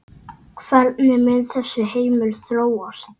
Hvernig mun þessi heimur þróast?